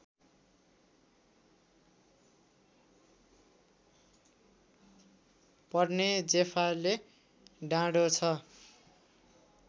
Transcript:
पर्ने जेफाले डाँडो छ